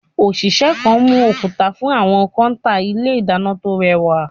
Òṣìṣẹ́ kan mú òkúta fún àwọn kọ́ńtà ilé ìdáná tó rẹwà.